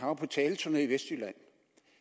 var på taleturné i vestjylland